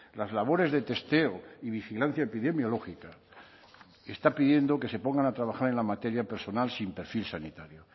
las labores de testeo y vigilancia epidemiológica está pidiendo que se pongan a trabajar en la materia personal sin perfil sanitario